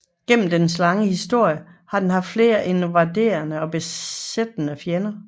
Gennem dets lange historie har det haft flere invaderende og besættende fjender